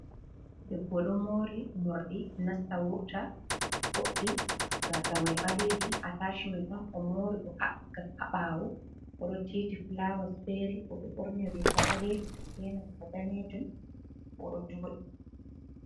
Debbo ɗo mori mordi nasta wurta boɗɗi, gasamai balejum, a tashimen on o mori o habbi ka haa ɓaawo oɗo tiiti fulawas fere oɗo ɓorni riga balejum, be nanta danejun oɗo jooɗii.